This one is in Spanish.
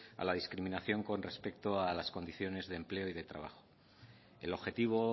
a la discriminación con respecto a las condiciones de empleo y de trabajo el objetivo